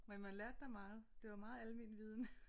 Men man lærte da meget det var meget almen viden